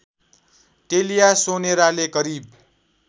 टेलिया सोनेराले करिब